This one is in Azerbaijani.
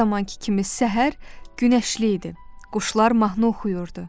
Hər zamankı kimi səhər günəşli idi, quşlar mahnı oxuyurdu.